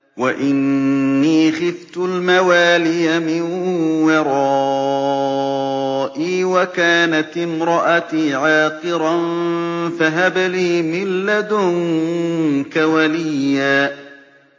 وَإِنِّي خِفْتُ الْمَوَالِيَ مِن وَرَائِي وَكَانَتِ امْرَأَتِي عَاقِرًا فَهَبْ لِي مِن لَّدُنكَ وَلِيًّا